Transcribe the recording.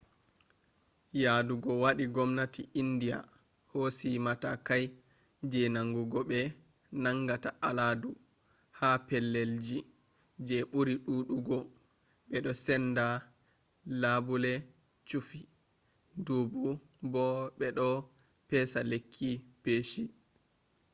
yaɗugo waɗi gomnati india hosi matakai je nangugo ɓe nangata aladu ha pellelji je ɓuri ɗuɗugo ɓeɗo senda labule chufi dubu bo ɓe ɗo pesa lekki peshi